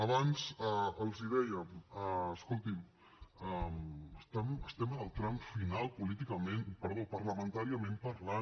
abans els dèiem escoltin estem en el tram final políticament perdó parlamentàriament parlant